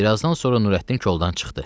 Bir azdan sonra Nurəddin koldan çıxdı.